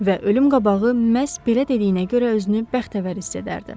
Və ölüm qabağı məhz belə dediyinə görə özünü bəxtəvər hiss edərdim.